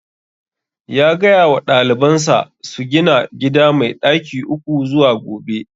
Ya gaya wa daliban sa su gina gida mai ɗaki uku zuwa gobe